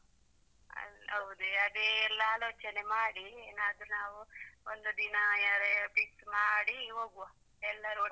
ಹೌದ್ ಅದೇ ಎಲ್ಲ ಆಲೋಚನೆ ಮಾಡಿ ಏನಾದ್ರು ನಾವು ಒಂದು ದಿನ ಯಾರೇ fix ಮಾಡಿ ಹೋಗುವ ಎಲ್ಲರೂ ಒಟ್ಟಿಗೆ.